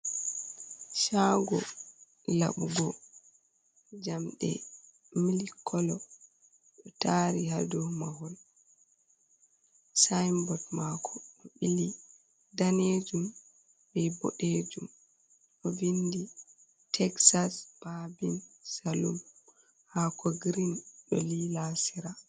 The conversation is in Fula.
"Shago laɓugo" jamɗe milik kolo ɗo tari ha dow mahol sinbot mako do bili danejum be bodejum ɗo vindi texas babin salum hako green do li asira.